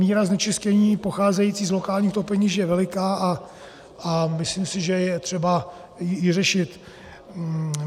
Míra znečištění pocházející z lokálních topenišť je veliká a myslím si, že je třeba ji řešit.